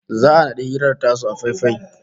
Za'a naɗi hirar tasu a faifai